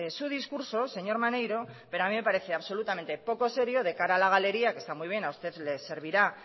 su discurso señor maneiro pero a mí me parece absolutamente poco serio de cada a la galería que está muy bien a usted le servirá